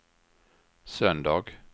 söndag